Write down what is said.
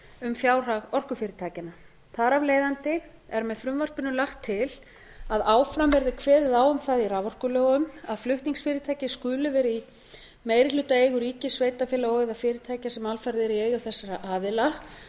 um fjárhag orkufyrirtækjanna þar af leiðandi er með frumvarpinu lagt til að áfram verði kveðið á um það í raforkulögum að flutningsfyrirtæki skuli vera í meirihlutaeigu ríkis sveitarfélaga og eða fyrirtækja sem alfarið eru í eigu þessara aðila